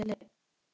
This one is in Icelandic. Það varð aldrei!